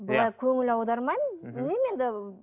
былай көңіл аудармаймын білмеймін енді